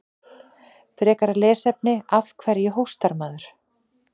Frekara lesefni: Af hverju hóstar maður?